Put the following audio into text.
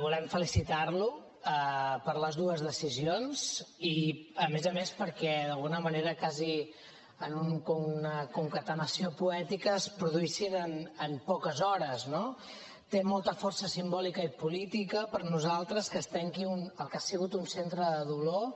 volem felicitar lo per les dues decisions i a més a més perquè d’alguna manera quasi en una concatenació poètica es produïssin en poques hores no té molta força simbòlica i política per a nosaltres que es tanqui el que ha sigut un centre de dolor